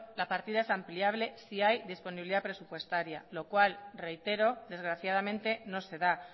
la partida es ampliable si hay disponibilidad presupuestaria lo cual reitero desgraciadamente no se da